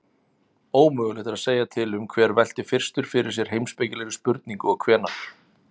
Ómögulegt er að segja til um hver velti fyrstur fyrir sér heimspekilegri spurningu og hvenær.